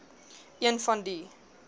een van die